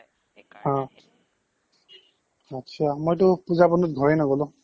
আচ্ছা, মইটো পূজাৰ বন্ধত ঘৰে নগ'লো